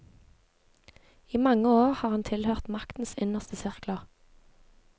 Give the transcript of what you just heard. I mange år har han tilhørt maktens innerste sirkler.